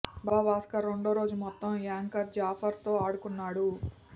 బాబా భాస్కర్ రెండో రోజు మొత్తం యాంకర్ జాఫర్తో ఆడుకున్నాడు